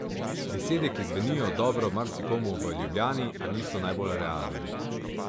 Besede, ki zvenijo dobro marsikomu v Ljubljani, a niso najbolj realne.